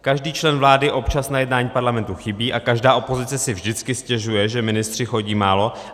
Každý člen vlády občas na jednání parlamentu chybí a každá opozice si vždycky stěžuje, že ministři chodí málo.